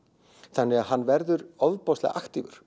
þannig að hann verður ofboðslega aktífur